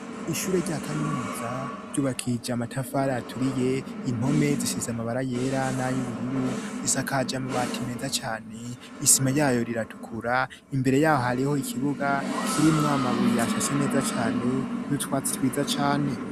Ishure rya kaminuza ryubakishije amatafari aturiye impome zisize amabara yera n'a y'ubururu, risakaj amabati meza cane isima ryayo riratukura imbere yaho hariho ikibuga kirimwa amabuye ashashe neza cane nutwatsi twiza cane.